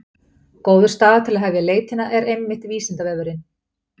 Góður staður til að hefja leitina er einmitt Vísindavefurinn!